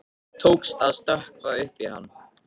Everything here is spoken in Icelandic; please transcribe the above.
Tókst að stökkva upp í hann.